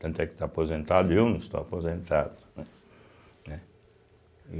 Tanto é que está aposentado e eu não estou aposentado, né né e